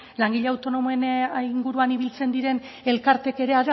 langile autonomoen inguruan ibiltzen diren elkarteek ere